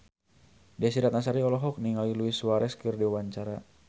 Desy Ratnasari olohok ningali Luis Suarez keur diwawancara